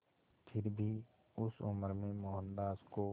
फिर भी उस उम्र में मोहनदास को